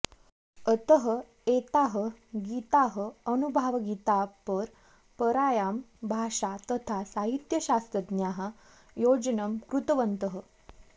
अतः एताः गीताः अनुभावगीतापरम्परायां भाषा तथा साहित्यशास्त्रज्ञाः योजनं कृतवन्तः